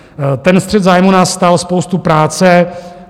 Ten střet zájmů nás stál spoustu práce.